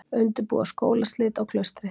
Undirbúa skólaslit á Klaustri